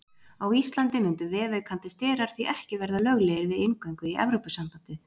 Á Íslandi mundu vefaukandi sterar því ekki verða löglegir við inngöngu í Evrópusambandið.